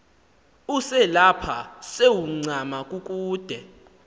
uselapha sewuncama kukude